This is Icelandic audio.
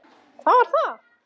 Hvað var það?